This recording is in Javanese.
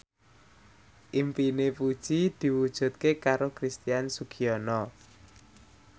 impine Puji diwujudke karo Christian Sugiono